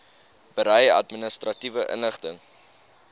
berei administratiewe inligting